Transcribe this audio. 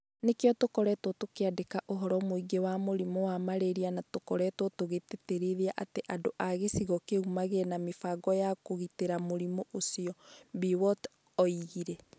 Nĩkĩo tũkoretwo tũkĩandĩka ũhoro mũingĩ wa mũrimũ wa malaria na tũkoretwo tũgĩtĩtĩrithia atĩ andũ a gĩcigo kĩu magĩe na mĩbango ya kũgitĩra mũrimũ ũcio", Biwott oigire.